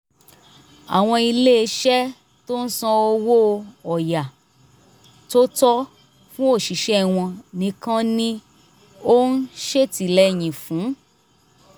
àwọn iléeṣẹ́ tó ń san owó ọ̀yà tó tọ́ fún òṣìṣẹ́ wọn nìkan ni ó ń ṣètìlẹyìn fún